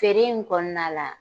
Feere in kɔnɔna la